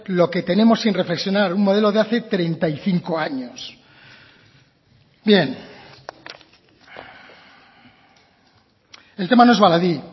lo que tenemos sin reflexionar un modelo de hace treinta y cinco años bien el tema no es baladí